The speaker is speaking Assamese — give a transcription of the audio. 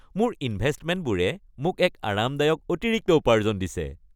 মোৰ ইনভেষ্টমেণ্টবোৰে মোক এক আৰামদায়ক অতিৰিক্ত উপাৰ্জন দিছে।